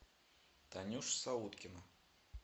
танюша сауткина